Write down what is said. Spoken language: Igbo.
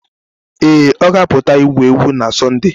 Ee, ọ ga-apụta igwu egwu na Sọnde